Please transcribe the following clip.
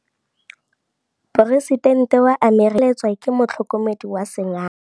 Poresitêntê wa Amerika o sireletswa ke motlhokomedi wa sengaga.